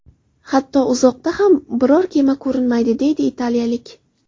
Hatto uzoqda ham biror kema ko‘rinmaydi”, deydi italiyalik.